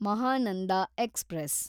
Mahananda express